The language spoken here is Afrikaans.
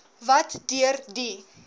wat deur die